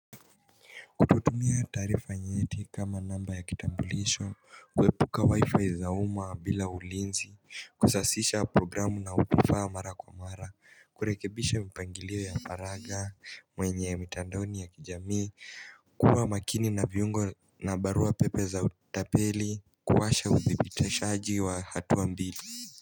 Twatumia taarifa nyeti kama namba ya kitambulisho kuepuka wifi za uma bila ulinzi kusasisha programu na unaotufaa mara kwa mara kurekebisha mpangilio ya faragha mwenye mtandaoni ya kijamii kuwa makini na viungo na barua pepe za utapeli kuwasha uthibitishaji wa hatua mbili.